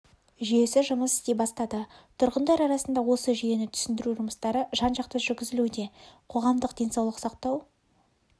жүйесі жұмыс істей бастады тұрғындар арасында осы жүйені түсіндіру жұмыстары жан-жақты жүргізілуде қоғамдық денсаулық сақтау